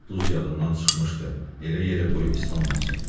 Duz yadımdan çıxmışdı, elə yerə qoy islanmasın.